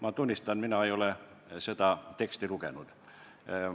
Ma tunnistan, et mina ei ole seda teksti lugenud.